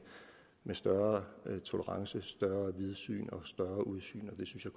større tolerance vidsyn og udsyn det synes jeg